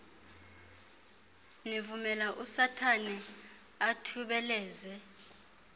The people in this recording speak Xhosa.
nivumela usathana athubeleze